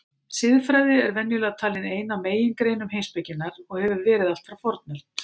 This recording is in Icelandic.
Siðfræði er venjulega talin ein af megingreinum heimspekinnar og hefur verið allt frá fornöld.